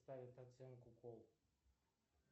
ставят оценку кол